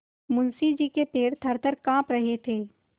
मुंशी जी के पैर थरथर कॉँप रहे थे